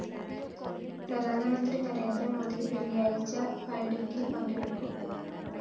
പ്രധാനമന്ത്രി നരേന്ദ്രമോദി വെള്ളിയാഴ്ച ബൈഠക്കില്‍ പങ്കെടുക്കും